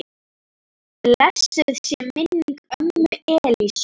Blessuð sé minning ömmu Elísu.